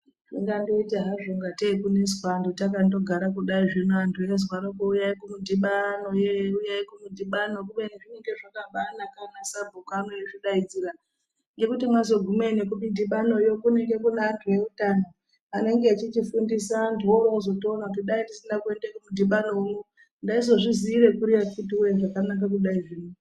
Zvingandoita hazvo ngatei kuneswa anthu takandogara kudai zvino antu eizwarokwo uyai kumudhibano yee uyai kumudhibano kubeni zvinenge zvakabaanaka anasabhuku ano eizvidaidzira ngekuti mwazogumeyo nekumudhibanoyo kunenge kuti antu eutano anenge echichifundisa antu worowozotoona kuti dai ndisina kuende kumudhibano uno ndaizozviziira kuri zviro akhiti woye zvakabaanaka kudai zvino.